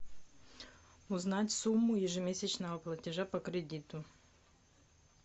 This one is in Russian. узнать сумму ежемесячного платежа по кредиту